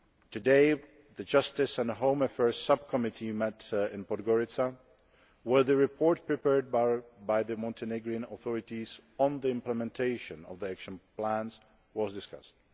delay. Today, the Justice and Home Affairs Subcommittee met in Podgorica, where the report prepared by the Montenegrin authorities on the implementation of the Action Plans was discussed.